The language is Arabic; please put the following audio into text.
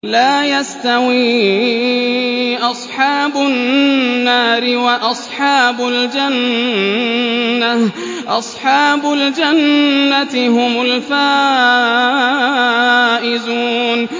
لَا يَسْتَوِي أَصْحَابُ النَّارِ وَأَصْحَابُ الْجَنَّةِ ۚ أَصْحَابُ الْجَنَّةِ هُمُ الْفَائِزُونَ